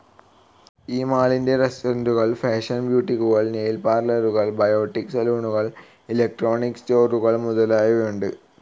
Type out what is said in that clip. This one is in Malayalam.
ഈ മാളിൽ റസ്റ്റോറൻ്റുകൾ ഫാഷൻ ബുട്ടീക്കുകൾ നെയിൽ പാർലറുകൾ ബയോട്ടി സലൂണുകൾ ഇലക്ട്രോണിക്‌ സ്റ്റോറുകൾ മുതലായവയുണ്ട്.